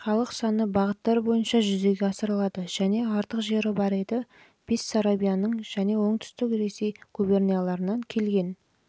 халық саны бағыттар бойынша жүзеге асырылады және артық жері бар еді бессарабияның және оңтүстік ресей губернияларынан келген